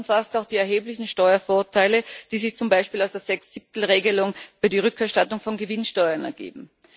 Das umfasst auch die erheblichen Steuervorteile, die sich zum Beispiel aus der Sechs Siebtel Regelung über die Rückerstattung von Gewinnsteuern ergeben.